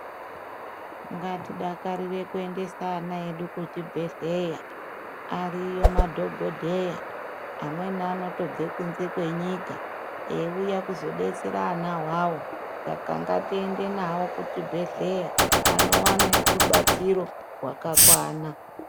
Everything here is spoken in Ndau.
Ngatidakarire kuendesa ana edu kuzvibhehleya. Ariyo madhogodheya, amweni anotobve kunze kwenyika, eiuya kuzodetsera ana awawo. Saka ngatiende navo kuchibhedhleya anowane rubatsiro rwakakwana.